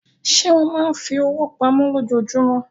Ṣé ó máa fi owó pamọ́ lójoojúmọ́?